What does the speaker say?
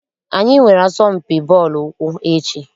Anyị nwere asọmpi bọọlụ ụkwụ echi.